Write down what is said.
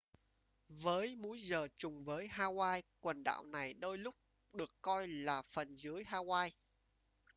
với múi giờ trùng với hawaii quần đảo này đôi lúc được coi là phần dưới hawaii